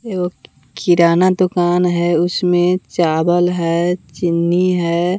एगो किराना दुकान है उसमें चावल है चीनी है।